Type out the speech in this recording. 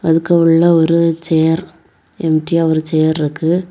அதுக்கு உள்ள ஒரு சேர் எம்டியா ஒரு சேர் இருக்கு.